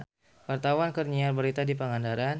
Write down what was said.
Wartawan keur nyiar berita di Pangandaran